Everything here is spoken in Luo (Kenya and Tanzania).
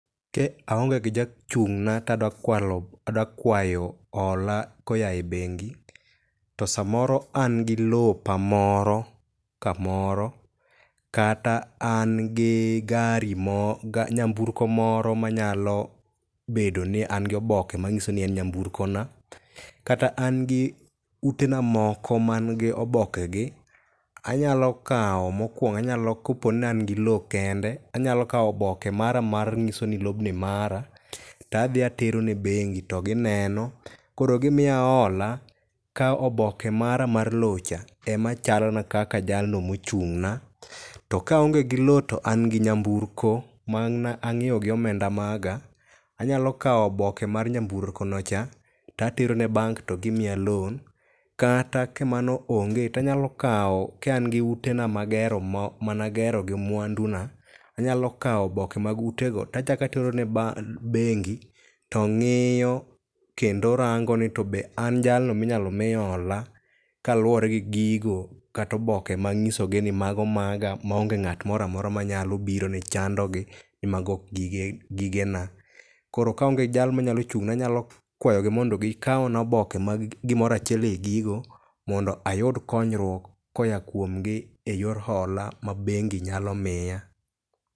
Ka aonge gi jachung' na to adwa kwalo adwa kwayo hola koa e bengi, to samoro an gi lopa moro kamoro kata an gi gari moro nyamburko moro manyalo bedo ni an gi oboke manyiso ni en nyamburko na, kata an gi utena moko man gi obokegi, anyalo kawo mokuongo anyalo kawo kopo ni an gi lowo kende anyalo kawo oboke manyiso ni lobni mara to adhi atero nebengi to gidhi gineno to gimiya hola ka oboke mara mar lowo cha ema chalona kaka jalno mochung' na. To ka aonge gi lowo to an gi nyamburko mane anyiewo gi omenda maga, anyalo kawo oboke mar nyamburko cha to atero ne bengi to gimiya hola kaok kamano to anyalo kawo kao utena mane agero gi mwandu na, anyalo kawo oboke mag utego to achako atero ne bengi to ng'iyo kendo rango ni to be an jalno minyalo mi hola kaluwore gi gigo kata oboke manyisogi ni mago maga maonge ng'at moro amora manyalo biro ni chando gi ni mago ok gige na. Koro kaonge jal manyalo chung' na anyalo kwayogi mondo gikawna oboke mar gimoro achiel ei gigo, mondo ayud konyruok koa kum gi ma bengi nyalo miya.